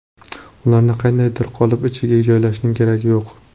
Ularni qandaydir qolip ichiga joylashning keragi yo‘q.